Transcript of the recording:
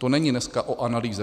To není dneska o analýze.